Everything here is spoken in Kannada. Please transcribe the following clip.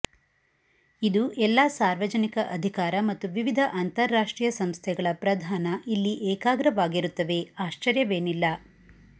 ಇದು ಎಲ್ಲಾ ಸಾರ್ವಜನಿಕ ಅಧಿಕಾರ ಮತ್ತು ವಿವಿಧ ಅಂತಾರಾಷ್ಟ್ರೀಯ ಸಂಸ್ಥೆಗಳ ಪ್ರಧಾನ ಇಲ್ಲಿ ಏಕಾಗ್ರವಾಗಿರುತ್ತವೆ ಆಶ್ಚರ್ಯವೇನಿಲ್ಲ